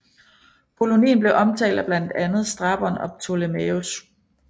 Kolonien blev omtalt af blandt andet Strabon og Ptolemæus